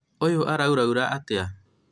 ũyũ araũrũraũrũra atĩa?